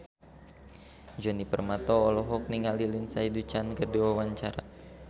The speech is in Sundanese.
Djoni Permato olohok ningali Lindsay Ducan keur diwawancara